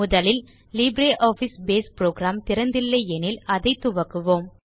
முதலில் LibreOffice Base program திறந்து இல்லை எனில் துவக்குவோம்